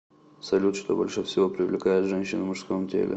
салют что больше всего привлекает женщин в мужском теле